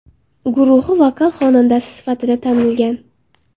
guruhi vokal xonandasi sifatida tanilgan.